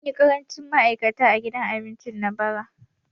Mun yi ƙarancin ma'aikata a gidan abincin nan bara